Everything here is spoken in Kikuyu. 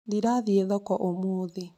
Ndirathiĩ thoko ũmũthĩ